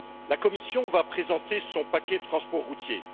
La Commission va présenter son paquet transport routier.